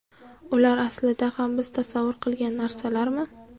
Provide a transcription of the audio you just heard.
Ular aslida ham biz tasavvur qilgan narsalarmi?